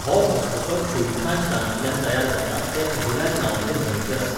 हो घसघसो 'छुईखांच' रानांतल्यान तयार जाता ते अहिराज नांवाचे न्हंयचेर आसा.